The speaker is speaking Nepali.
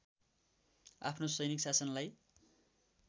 आफ्नो सैनिक शासनलाई